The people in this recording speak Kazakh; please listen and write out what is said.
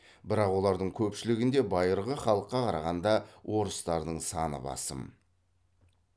бірақ олардың көпшілігінде байырғы халыққа қарағанда орыстардың саны басым